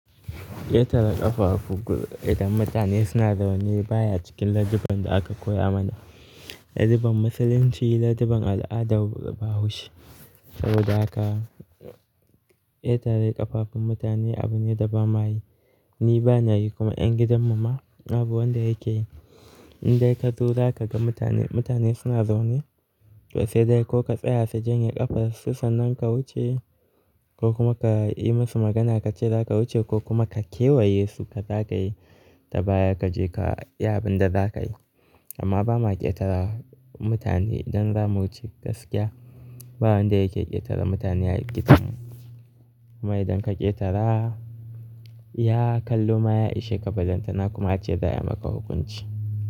Ƙetare ƙafafu idan mutane suna zaune baya cikin ladabin da aka koya mana. Laduban musulunci ladabin al'adar bahaushe saboda haka ƙetare ƙafafun mutane abu ne da ba mayi. Ni bana yi kuma ƴan gidan mu ma abu wanda yake yi. In dai ka zo za ka ga mutane, mutane suna zaune to sai dai ko ka tsaya sa janye ƙafar su sannan ka wuce ko kuma ka yi musu magana ka ce za ka wuce ko kuma ka kewaye su ka za ka yi da baya ka je ka yi abin da za ka yi. Amma ba ma ƙetara mutane idan za mu wuce gaskiya. Ba wanda yake ƙetara mutane a gidan mu. Amma idan ka ƙetara, iya kallo ma ya ishe ka, bazan tana kuma ace za a maka hukunci.